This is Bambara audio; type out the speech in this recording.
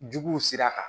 Juguw sira kan